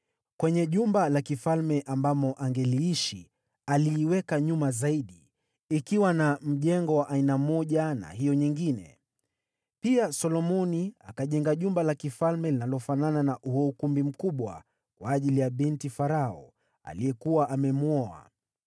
Kwenye jumba la kifalme ambamo angeliishi, aliiweka nyuma zaidi, ikiwa na mjengo wa aina moja na hiyo nyingine. Pia Solomoni akajenga jumba la kifalme linalofanana na huo ukumbi mkubwa kwa ajili ya binti Farao, aliyekuwa amemwoa.